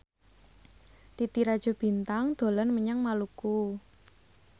Titi Rajo Bintang dolan menyang Maluku